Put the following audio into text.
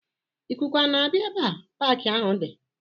Ikuku a na-abịa ebe paaki ahụ di?